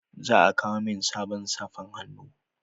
Za a kawo min sabon safan hannu